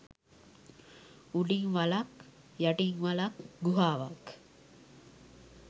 උඩින් වළක් යටින් වළක් ගුහාවක්